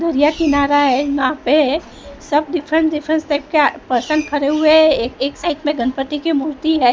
यह किनारा है वहां पे सब डिफरेंट डिफरेंट टाइप के पर्सन खड़े हुए हैं एक एक साइड में गणपति की मूर्ति है।